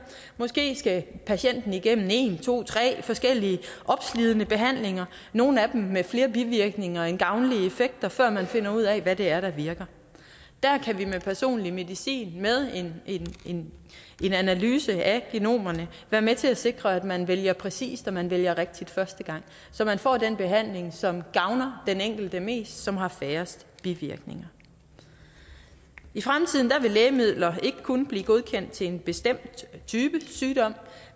måske skal patienten igennem en to tre forskellige opslidende behandlinger nogle af dem med flere bivirkninger end gavnlige effekter før man finder ud af hvad det er der virker der kan vi med personlig medicin med en analyse af genomerne være med til at sikre at man vælger præcist og at man vælger rigtigt første gang så man får den behandling som gavner den enkelte mest og som har færrest bivirkninger i fremtiden vil lægemidler ikke kun blive godkendt til en bestemt type sygdom